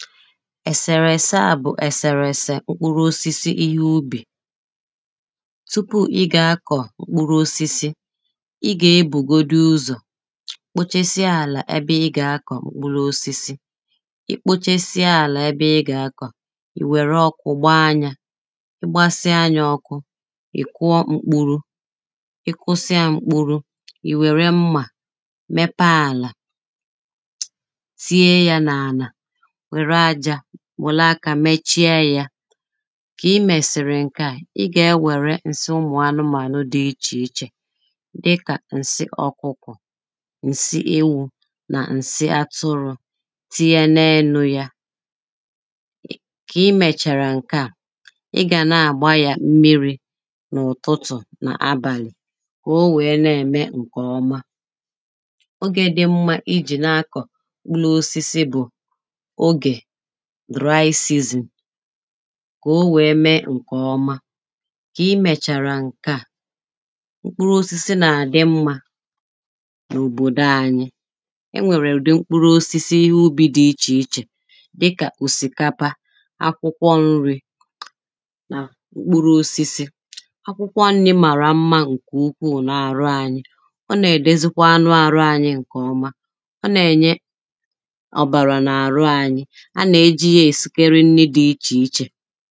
ẹ̀sẹ̀rẹ̀sẹ̀ a bụ̀ ẹ̀sẹ̀rẹ̀sẹ̀ m̀kpụrụosisi ihẹ ubì Tupù ị ga-akọ̀ mkpụrụosisi, ị gà-ebūgodūūzọ̀ kpochesie àlà ẹbẹ ị ga-akọ̀ m̀kpụrụosisi I kpochesie ala ẹbẹ ị ga-akọ̀ i nwẹ̀rẹ̀ ọkụ̀ gbaa yà. Ị gbasịa yà ọkụ̀, ị̀ kụọ m̀kpurù ị kụsịa m̀kpurù i nwẹ̀rẹ̀ mmā mẹpẹẹ àlà tinye yà n’àlà nwẹ̀rẹ̀ aja nwẹ̀lẹ̀ akā mèchie ya Kà ị mẹ̀sịrị̀ ǹkẹ̀ à, ị gà-enwẹ̀rẹ̀ ǹsị ụmụ̀ anụmānụ̀ dị̀ ichèichè dịkà ǹsị ọ̀kụkọ̀ ǹsị ewū nà ǹsị atụrụ̀ tinyẹ n’elu ya kà i mèchara ǹkẹ̀ à ị gà na-agba yà m̀miri n’ụtụtụ nà abàlị̀ kà o wèè nà-eme ǹkẹ̀ ọmā Ògè dị m̀ma ijì na-akọ̀ m̀kpụrụosisi bụ̀ ògè dry season kà o wèè mee ǹkẹ̀ ọmà kà i mècharà ǹkẹ̀ a m̀kpụrụosisi nà-adị mmā n’òbòdò ànyị Ẹ nwẹ̀rẹ̀ ụ̀dị m̀kpụrụosisi ihe ubì dị̀ ichèichè dịkà òsikapa akwụkwọ̀ ǹrì nà mkpụrụosisi. Akwụkwọ ǹri mara m̀ma ǹkẹ̀ ukwùù n’àrụ anyị Ọ nà-edezikwa anụ àrụ anyị ǹkẹ̀ ọmā Ọ nà-ẹ̀nyẹ̀ ọ̀bàrà n’àrụ anyị a nà-ẹjì yà ẹsikẹrẹ ǹrì dị̀ ichèichè